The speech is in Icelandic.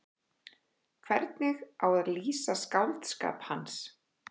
Hvernig á að lýsa skáldskap hans?